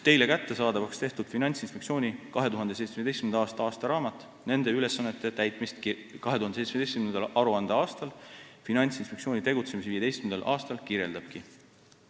Teile kättesaadavaks tehtud Finantsinspektsiooni 2017. aasta aastaraamat nende ülesannete täitmist 2017. aruandeaastal, Finantsinspektsiooni tegutsemise 15. aastal kirjeldabki.